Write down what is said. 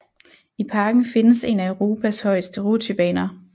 I parken findes en af Europas højeste rutsjebaner